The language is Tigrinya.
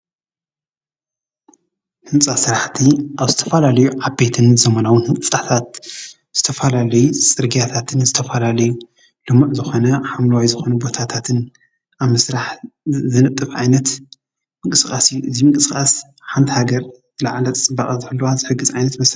ህንፃ ስራሕቲ ዝተፈላለዩ ዓበይትን ዘመናዊን ህንፃታት፣ ዝተፈላለዩ ፅርግያታትን ዝተፈላለዩ ልሙዕ ዝኮነ ሓምለዋይ ዝኮነ ቦታትን ኣብ ምስራሕ ዝነጥፍ ዓይነት ምንቅስቃስ እዩ። እዚ ምንቅስቃስ ሓንቲ ሃገር ዝለዓለ ፅባቐን ንክህልዋ ዝሕግዝ ዓይነት መሳርሒ እዩ።